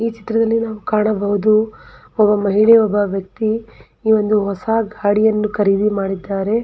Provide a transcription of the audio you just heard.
ಈ ಚಿತ್ರದಲ್ಲಿ ನಾವು ಕಾಣಬಹುದು ಒಬ್ಬ ಮಹಿಳೆ ಒಬ್ಬ ವ್ಯಕ್ತಿ ಈ ಒಂದು ಹೊಸ ಗಾಡಿಯನ್ನು ಖರೀದಿ ಮಾಡಿದ್ದಾರೆ.